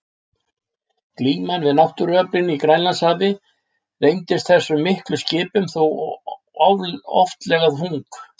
Glíman við náttúruöflin í Grænlandshafi reyndist þessum miklu skipum þó oftlega þung.